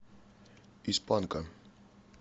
из панка